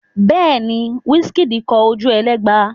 Bẹ́ẹ̀ ni, Wizkid kọ Ojuelegba.